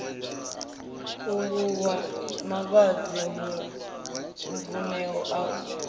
khuvhuwa mavhadzi mvun eo u